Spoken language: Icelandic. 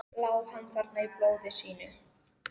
Lá hann þarna í blóði sínu?